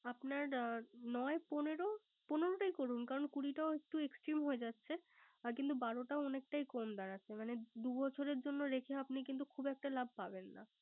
আপনার নয় পনেরো। পনেরো টাই করুন। কারন কুড়িটা একটু Extreme হয়ে যাচ্ছে। আর কিন্ত বারোটাও অনেকটাই কম দাড়াচ্ছে। কারন দুবছরের জন্য রেখে কিন্ত খুব একটা লাভ পাবেন না।